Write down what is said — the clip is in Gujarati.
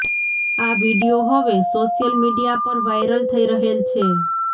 આ વીડિયો હવે સોશિયલ મીડિયા પર વાયરલ થઇ રહેલ છે